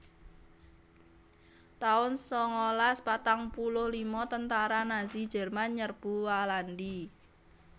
taun sangalas patang puluh lima Tentara Nazi Jerman nyerbu Walandi